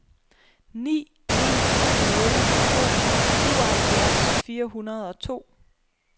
ni en nul to syvoghalvfjerds fire hundrede og to